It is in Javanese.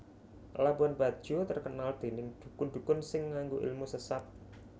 Labuhan Bajo terkenal dening dukun dukun sing nganggo ilmu sesat